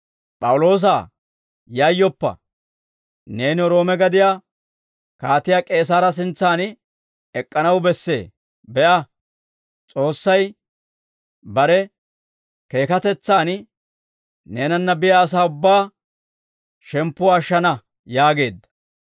‹P'awuloosaa, yayyoppa; neeni Roome gadiyaa Kaatiyaa K'eesaara sintsan ek'k'anaw bessee; be'a, S'oossay bare keekatetsaan neenanna biyaa asaa ubbaa shemppuwaa ashshana› yaageedda.